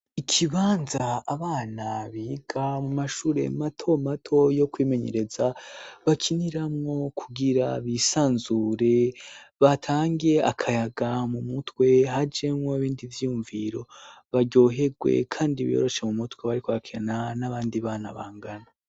Ikibanza abana biga mu mashure matomato yo kwimenyereza bakiniramwo kugira bisanzure batangiye akayaga mu mutwe hajemwo 'bindi vyumviro baryoherwe, kandi biyoroshe mu mutwe bariko akena n'abandi bana bangana.